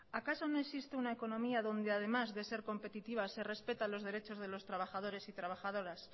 acaso no existe una economía donde además de ser competitiva se respetan los derechos de los trabajadores y trabajadoras